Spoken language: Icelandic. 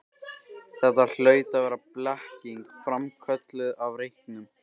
Þetta hlaut að vera blekking, framkölluð af reyknum.